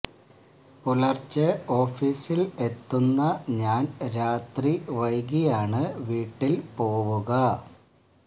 പുലർച്ചെ ഓഫീസിൽ എത്തുന്ന ഞാൻ രാത്രി വൈകിയാണ് വീട്ടിൽ പോവുക